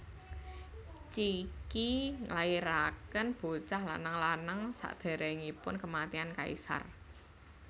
Cixi nglahirakén bocah lanang lanang sakdéréngipun kèmatian kaisar